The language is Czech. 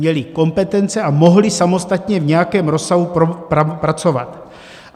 Měli kompetence a mohli samostatně v nějakém rozsahu pracovat.